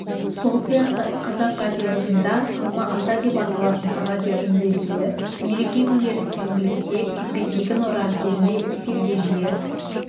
сол сияқты қазақ радиосының да алма-ата деп аталатын радиоүндесуі мереке күндері сенбілікте күзгі егін орағы кезінде эфирге жиі